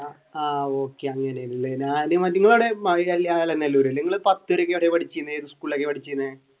ആഹ് okay ഞാൻ മറ്റേ നിങ്ങൾ എവിടെയാണ് നിങ്ങൾ പത്തിലൊക്കെ ഇവിടെ പഠിച്ചീനെ ഏതു സ്കൂളിലാണ് പഠിച്ചീനെ